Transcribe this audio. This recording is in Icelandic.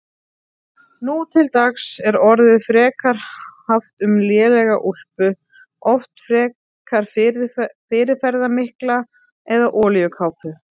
Nú til dags er orðið frekar haft um lélega úlpu, oft frekar fyrirferðarmikla, eða olíukápu.